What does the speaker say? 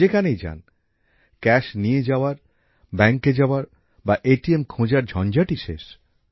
যেখানেই যান নগদ টাকা নিয়ে যাওয়ার ব্যাংকে যাওয়ার বা এটিএম খোঁজার ঝঞ্ঝাটই শেষ